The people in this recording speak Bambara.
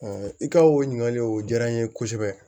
i ka o ɲininkali o diyara n ye kosɛbɛ